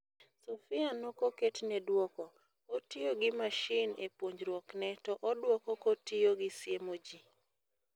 Sophia nokoketne duoko, otiyo gi mashin e puonjruokne to oduoko kotiyogi siemo ji.